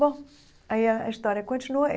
Bom, aí a a história continua.